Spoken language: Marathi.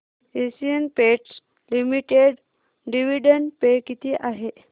Asian Paints Limited dividend pay किती आहे